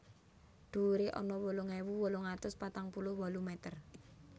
Dhuwuré ana wolung ewu wolung atus patang puluh wolu meter